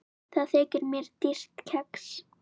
Það þykir mér dýrt kex.